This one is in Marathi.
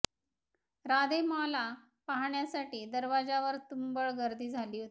राधे माँला पाहण्यासाठी दरवाजावर तुंबळ गर्दी झाली होती